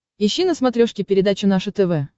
ищи на смотрешке передачу наше тв